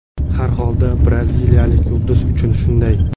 Har holda braziliyalik yulduz uchun shunday.